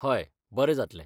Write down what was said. हय बरें जातलें.